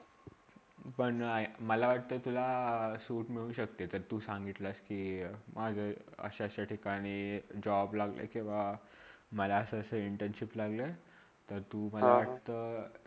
पण मला वाटते तुला सुट मिळु शक्ते जर तु सांगितलास के माझा अशा -अशा ठिकाणी job लागला किवा मला असे -असे internship लागला. तर तु मला वाटता